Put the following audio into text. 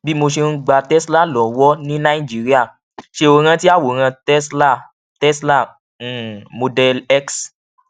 bí mo ṣe ń gba tesla lówó ní nàìjíríà ṣé o rántí àwòrán tesla àwòrán tesla um model x